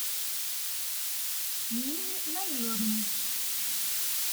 нины наиловны